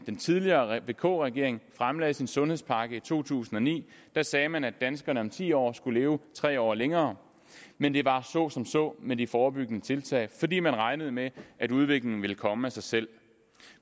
den tidligere vk regering fremlagde sin sundhedspakke i to tusind og ni sagde man at danskerne om ti år skulle leve tre år længere men det var så som så med de forebyggende tiltag fordi man regnede med at udviklingen ville komme af sig selv